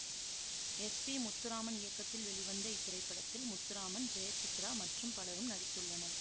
S P Muthuraman இயக்கத்தில் வெளிவந்த இத்திரைப்படத்தில் முத்துராமன் ஜெயசித்ரா மற்றும் பலரும் நடித்துள்ளனர்